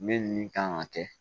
Min nin kan ka kɛ